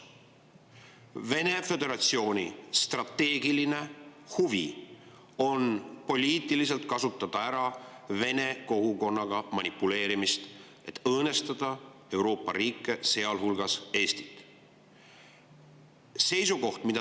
Venemaa Föderatsiooni strateegiline huvi on poliitiliselt kasutada ära Vene kogukonnaga manipuleerimist, et õõnestada Euroopa riike, sealhulgas Eestit.